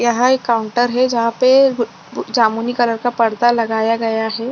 यहाँ एक काउंटर है जहाँ पे जमुनी कलर का पर्दा लगाया गया है।